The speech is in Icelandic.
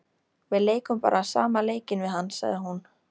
Við leikum bara sama leikinn við hann, sagði hún.